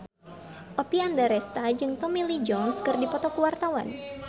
Oppie Andaresta jeung Tommy Lee Jones keur dipoto ku wartawan